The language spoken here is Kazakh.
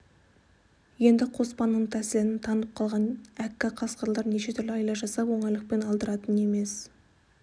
енді қоспанның тәсілін танып қалған әккі қасқырлар неше түрлі айла жасап оңайлықпен алдыратын емес